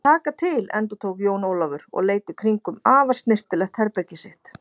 Taka til endurtók Jón Ólafur og leit í kringum afar snyrtilegt herbergið sitt.